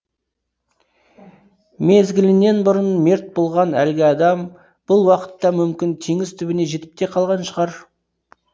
мезгілінен бұрын мерт болған әлгі адам бұл уақытта мүмкін теңіз түбіне жетіп те қалған шығар